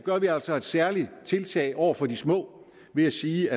vi altså et særligt tiltag over for de små ved at sige